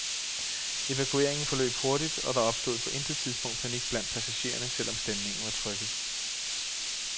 Evakueringen forløb hurtigt, og der opstod på intet tidspunkt panik blandt passagererne, selv om stemningen var trykket.